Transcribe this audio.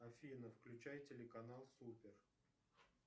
афина включай телеканал супер